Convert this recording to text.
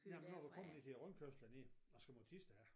Jamen når du kommer ned til rundkørslen dernede og skal mod Thisted af